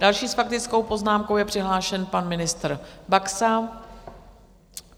Další s faktickou poznámkou je přihlášen pan ministr Baxa.